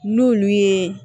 N'olu ye